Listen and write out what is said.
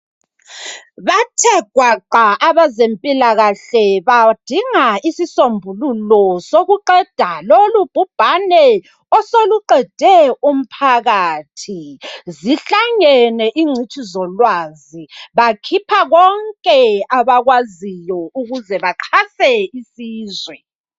Bathe gwaqa abezempilakahle badinga isisombululo sokuqeda lolubhubhane osoluqede umphakathi, zihlangene ingcitshi zolwazi bakhipha konke abakwaziyo ukuze baqhase isizwe.